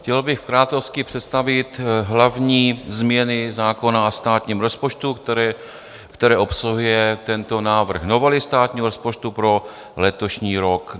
Chtěl bych v krátkosti představit hlavní změny zákona o státním rozpočtu, které obsahuje tento návrh novely státního rozpočtu pro letošní rok.